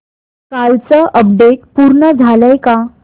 कालचं अपडेट पूर्ण झालंय का